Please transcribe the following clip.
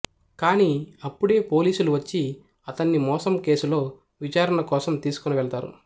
కానీ అప్పుడే పోలీసులు వచ్చి అతన్ని మోసం కేసులో విచారణకోసం తీసుకుని వెళ్తారు